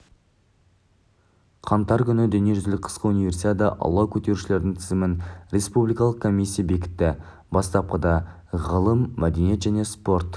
қаңтар күні дүниежүзілік қысқы универсиада алау көтерушілердің тізімін республикалық комиссия бекітті бастапқыда ғылым мәдениет және спорт